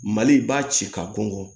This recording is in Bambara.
Mali b'a ci ka bɔnkɔ